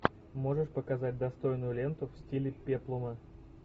можешь показать достойную ленту в стиле пеплума